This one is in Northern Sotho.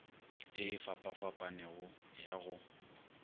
ye e fapafapanego ya go